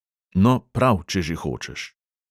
No, prav, če že hočeš.